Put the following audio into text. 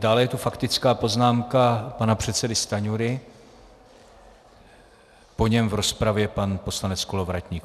Dále je tu faktická poznámka pana předsedy Stanjury, po něm v rozpravě pan poslanec Kolovratník.